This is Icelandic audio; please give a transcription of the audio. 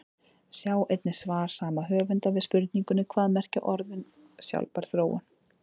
Sjá einnig svar sama höfundar við spurningunni Hvað merkja orðin sjálfbær þróun?